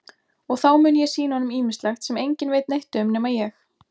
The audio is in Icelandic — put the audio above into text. Og þá muni ég sýna honum ýmislegt sem enginn veit neitt um nema ég.